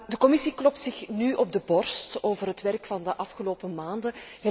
De Commissie klopt zich nu op de borst over het werk van de afgelopen maanden.